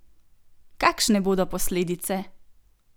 Kakšne bodo posledice?